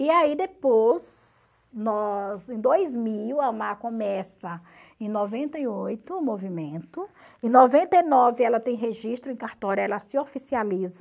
E aí depois, nós em dois mil a começa, em noventa e oito, o movimento, em noventa e nove ela tem registro em cartório, ela se oficializa,